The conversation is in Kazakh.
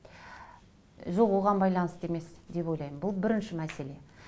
жоқ оған байланысты емес деп ойлаймын бұл бірінші мәселе